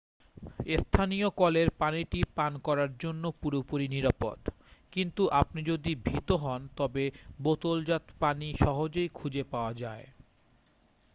স্থানীয় কলের পানিটি পান করার জন্য পুরোপুরি নিরাপদ কিন্তু আপনি যদি ভীত হন তবে বোতলজাত পানি সহজেই খুঁজে পাওয়া যায় ৷